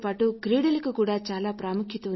క్రీడలకు కూడా చాలా ప్రాముఖ్యం ఉంది